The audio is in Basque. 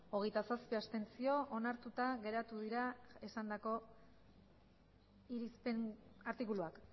hogeita zazpi abstentzio onartuta geratu dira esandako irizpen artikuluak